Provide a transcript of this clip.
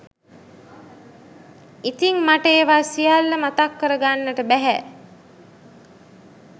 ඉතින් මට ඒවා සියල්ල මතක් කරගන්නට බැහැ